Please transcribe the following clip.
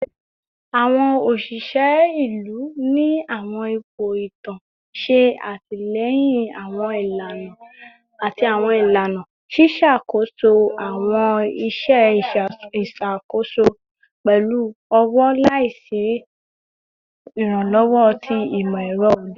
Awọn oṣiṣẹ ilu ni awọn ipo itan ṣe atilẹyin awọn ilana ati awọn ilana, ṣiṣakoso awọn iṣẹ iṣakoso pẹlu ọwọ laisi iranlọwọ ti imọ-ẹrọ ode oni.